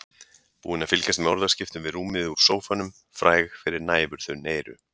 Búin að fylgjast með orðaskiptum við rúmið úr sófanum, fræg fyrir næfurþunn eyru.